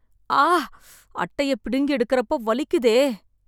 ஆ.. அட்டைய பிடுங்கி எடுக்கறப்போ வலிக்குதே...